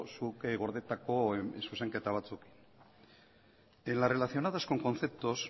zuk gordetako zuzenketa batzuekin en las relacionadas con conceptos